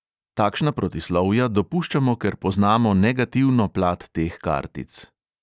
Takšna protislovja dopuščamo, ker poznamo negativno plat teh kartic.